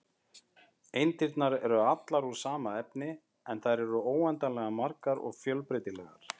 Eindirnar eru allar úr sama efni, en þær eru óendanlega margar og fjölbreytilegar.